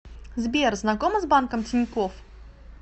сбер знакома с банком тинькофф